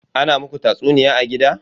Ana muku tatsuniya a gida?